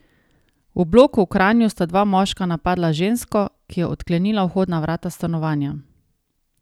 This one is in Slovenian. V bloku v Kranju sta dva moška napadla žensko, ki je odklenila vhodna vrata stanovanja.